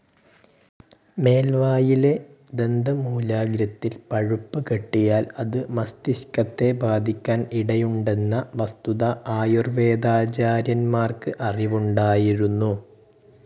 മേൽവായിലെ ദന്തമൂലാഗ്രത്തിൽ പഴുപ്പ് കെട്ടിയാൽ അത് മസ്തിഷ്കത്തെ ബാധിക്കാൻ ഇടയുണ്ടന്ന വസ്തുത ആയുർവേദാചാര്യന്മാർക്ക് അറിവുണ്ടായിരുന്നു.